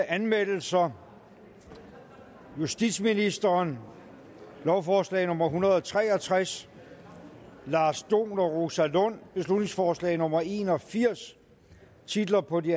anmeldelser justitsministeren lovforslag nummer hundrede og tre og tres lars dohn og rosa lund beslutningsforslag nummer b en og firs titlerne på de